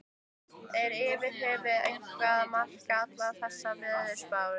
Er yfir höfuð eitthvað að marka allar þessar veðurspár?